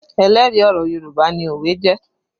Ẹlẹ́rìí ọ̀rọ̀ Yorùbá ni òwe jẹ́